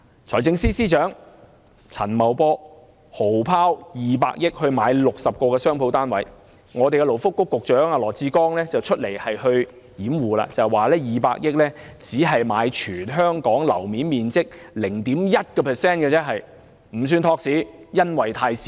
財政司司長陳茂波豪拋200億元購買60個商鋪單位，勞工及福利局局長羅致光就站出來辯護，說200億元只能買全港樓面面積的 0.1%， 金額太少，不算托市。